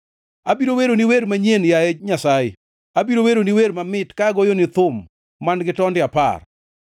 Abiro weroni wer manyien, yaye Nyasaye; abiro weroni wer mamit ka agoyoni thum man-gi tonde apar,